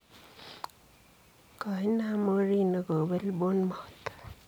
Kooinam Mourinho kobel Bournemouth.